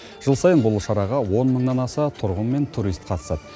жыл сайын бұл шараға он мыңнан аса тұрғын мен турист қатысады